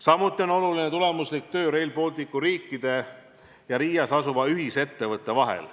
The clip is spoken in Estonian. Samuti on oluline tulemuslik töö Rail Balticu riikide ja Riias asuva ühisettevõtte vahel.